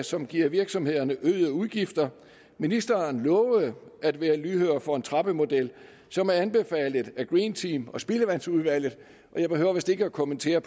som giver virksomhederne øgede udgifter ministeren lovede at være lydhør over for en trappemodel som er anbefalet af green team og spildevandsudvalget jeg behøver vist ikke at kommentere